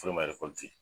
Furu ma